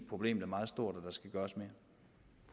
problemet er meget stort